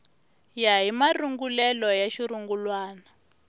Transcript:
ya hi marungulelo ya xirungulwana